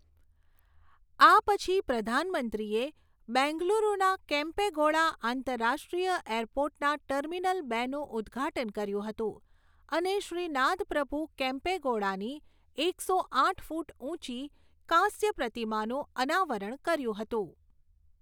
આ પછી પ્રધાનમંત્રીએ બેંગલુરુના કેમ્પેગૌડા આંતરરાષ્ટ્રીય એરપોર્ટના ટર્મિનલ બેનું ઉદ્ઘાટન કર્યું હતું અને શ્રી નાદપ્રભુ કેમ્પેગૌડાની એકસો આઠ ફૂટ ઊંચી કાંસ્ય પ્રતિમાનું અનાવરણ કર્યું હતું.